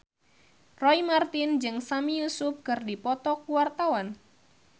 Roy Marten jeung Sami Yusuf keur dipoto ku wartawan